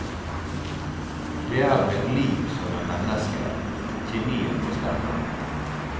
Det er med lim som med mennesker, kjemien må stemme.